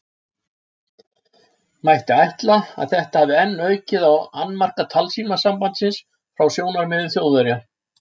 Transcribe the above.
Mætti ætla, að þetta hafi enn aukið á annmarka talsímasambandsins frá sjónarmiði Þjóðverja.